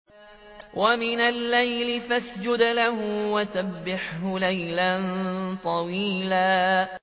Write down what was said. وَمِنَ اللَّيْلِ فَاسْجُدْ لَهُ وَسَبِّحْهُ لَيْلًا طَوِيلًا